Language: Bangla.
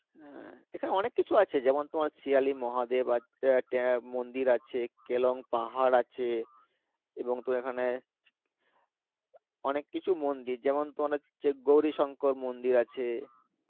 হ্যাঁ এখানে অনেক কিছু আছে যেমন তোমার সিয়ালী মহাদেব মন্দির আছে কেলং পাহাড় আছে এবং তুমি এখানে অনেক কিছু মন্দির যেমন তোমার হচ্ছে গৌরী শংকর মন্দির আছে